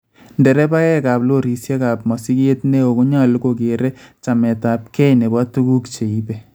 Ndereebaeekaab lorisiekaab mosiget neo konyalu kokeer chameetabkey nebo tukuuk cheibe